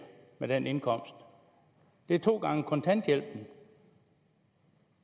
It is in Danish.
på den indkomst det er to gange kontanthjælpen